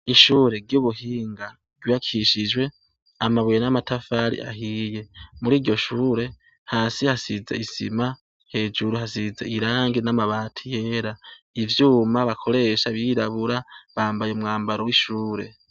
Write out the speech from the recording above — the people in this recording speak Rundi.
Ishure ry'ubuhinga ryubakishijwe amabuye n'amatafari ahiye ,muri iryo shure hasi hasize isima ,hejuru hasize irangi n'amabati yera, ivyuma bakoresha birirabura bambaye umwambaro w'ishure.